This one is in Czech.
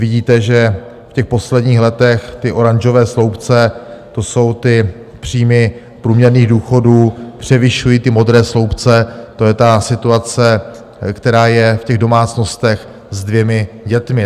Vidíte, že v těch posledních letech ty oranžové sloupce, to jsou ty příjmy průměrných důchodů, převyšují ty modré sloupce, to je ta situace, která je v těch domácnostech se dvěma dětmi.